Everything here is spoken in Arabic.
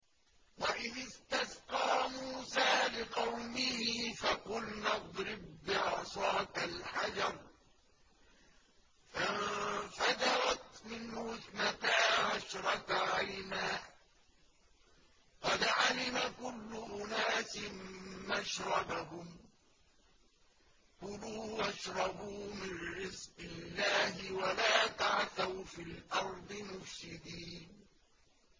۞ وَإِذِ اسْتَسْقَىٰ مُوسَىٰ لِقَوْمِهِ فَقُلْنَا اضْرِب بِّعَصَاكَ الْحَجَرَ ۖ فَانفَجَرَتْ مِنْهُ اثْنَتَا عَشْرَةَ عَيْنًا ۖ قَدْ عَلِمَ كُلُّ أُنَاسٍ مَّشْرَبَهُمْ ۖ كُلُوا وَاشْرَبُوا مِن رِّزْقِ اللَّهِ وَلَا تَعْثَوْا فِي الْأَرْضِ مُفْسِدِينَ